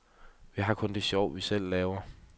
Vi har kun det sjov, vi selv laver.